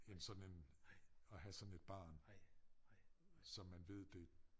End sådan en at have sådan et barn så man ved det